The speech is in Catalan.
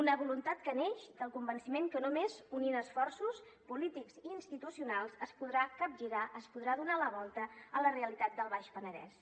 una voluntat que neix del convenciment que només unint esforços polítics i institucionals es podrà capgirar es podrà donar la volta a la realitat del baix penedès